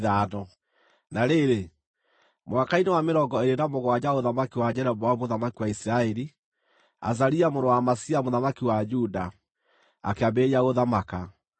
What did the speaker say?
Na rĩrĩ, mwaka-inĩ wa mĩrongo ĩĩrĩ na mũgwanja wa ũthamaki wa Jeroboamu mũthamaki wa Isiraeli, Azaria mũrũ wa Amazia mũthamaki wa Juda, akĩambĩrĩria gũthamaka.